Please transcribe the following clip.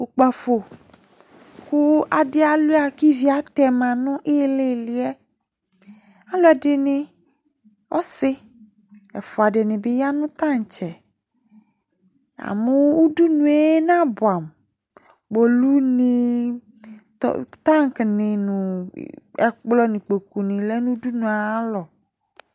ωkpafo ku ɑdialua kiviatema nu ililie ku aluedini ɔsi ɛfoua diniya nutantse̵ ɑmu oudunue nabeamu kpolunii tang ni ɛkplo nikpoku nilé nu oudunuayalo